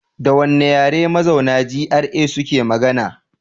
Da wane yare mazauna GRA suke magana?